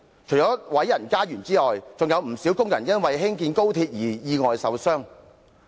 除了有人被毀家園外，還有不少工人因興建高鐵而意外受傷。